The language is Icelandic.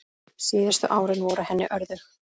Síðustu árin voru henni örðug.